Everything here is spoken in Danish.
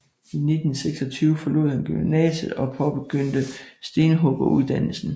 I 1926 forlod han gymnasiet og påbegyndte stenhuggeruddannelsen